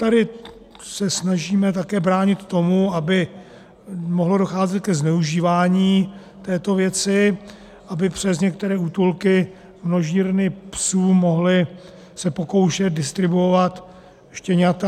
Tady se snažíme také bránit tomu, aby mohlo docházet ke zneužívání této věci, aby přes některé útulky, množírny psů mohly se pokoušet distribuovat štěňata.